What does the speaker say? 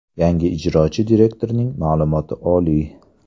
Yangi ijrochi direktorning ma’lumoti oliy.